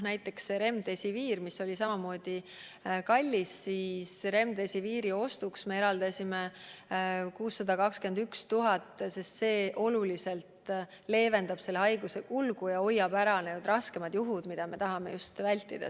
Näiteks Remdesivir oli samamoodi kallis ja selle ostmiseks me eraldasime 621 000 eurot, sest see leevendab oluliselt haiguse kulgu ja hoiab ära raskemad juhud, mida me tahame vältida.